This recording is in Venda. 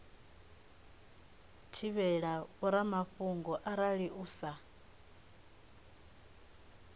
thivhela vhoramafhungo arali u sa